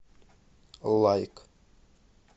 лайк